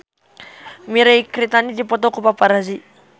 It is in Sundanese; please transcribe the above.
Mirei Kiritani dipoto ku paparazi